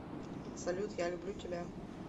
салют я люблю тебя